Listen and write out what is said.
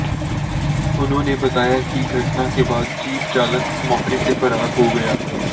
उन्होंने बताया कि घटना के बाद जीप चालक मौके से फरार हो गया